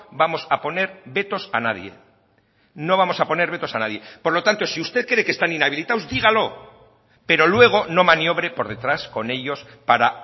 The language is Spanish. vamos a poner vetos a nadie no vamos a poner vetos a nadie por lo tanto si usted cree que están inhabilitados dígalo pero luego no maniobre por detrás con ellos para